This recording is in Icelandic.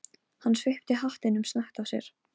Hann svipti hattinum snöggt af sér.